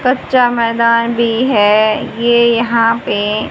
कच्चा मैदान भी है ये यहां पे--